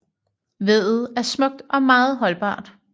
Veddet er smukt og meget holdbart